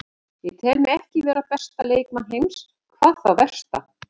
Ég tel mig ekki vera besta leikmann heims, hvað þá versta.